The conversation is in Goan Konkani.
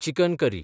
chicken curry